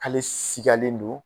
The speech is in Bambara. K'ale sikalen don.